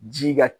Ji ka